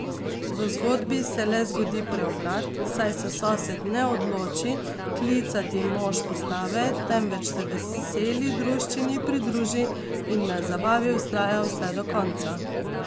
V zgodbi se le zgodi preobrat, saj se sosed ne odloči klicati mož postave, temveč se veseli druščini pridruži in na zabavi vztraja vse do konca.